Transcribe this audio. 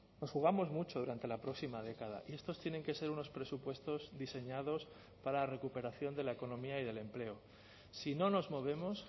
nos jugamos mucho durante la próxima década y estos tienen que ser unos presupuestos diseñados para la recuperación de la economía y del empleo si no nos movemos